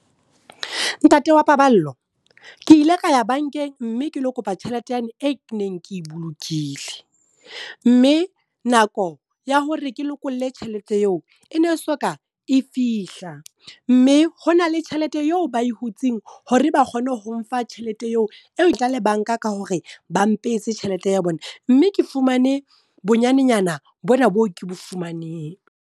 Ntate wa Paballo, ke ile ka ya bankeng mme ke lo kopa tjhelete yane e keneng ke e bolokile. Mme nako ya hore ke lokolle tjhelete eo e ne so ka e fihla. Mme ho na le tjhelete eo ba e hutseng hore ba kgone ho mfa tjhelete eo, eo e le banka ka hore ba mpehetse tjhelete ya bona. Mme ke fumane bonyanenyana bona boo ke bo fumaneng.